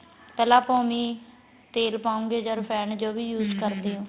ਪਹਿਲਾਂ ਆਪਾਂ ਉਵੇ ਤੇਲ ਪਾਉ ਗੇ ਜਾਂ ਰਫੇੰਡ ਜੋ ਵੀ use ਓ